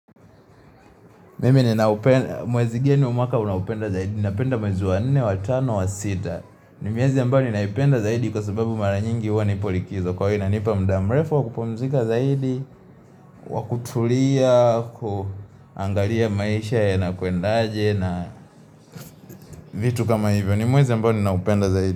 Mwezi gani wa mwaka unaupenda zaidi, napenda mwezi wa nne wa tano wa sita, ni miezi ambayo ninaipenda zaidi kwa sababu mara nyingi huwa nipolikizo kwa hio inanipa mda mrefu wakupumzika zaidi, wakutulia, kuangalia maisha yanakwendaje na vitu kama hivyo, ni mwezi ambao ninaupenda zaidi.